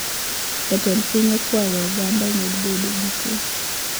Jatend piny okwayo oganda omed bedo gi kwee